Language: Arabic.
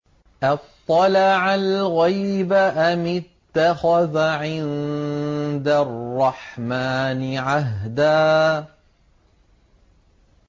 أَطَّلَعَ الْغَيْبَ أَمِ اتَّخَذَ عِندَ الرَّحْمَٰنِ عَهْدًا